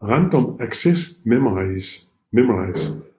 Random Access Memories